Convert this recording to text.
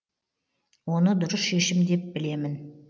оны дұрыс шешім деп білемін